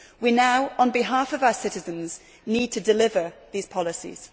We now, on behalf of our citizens, need to deliver these policies.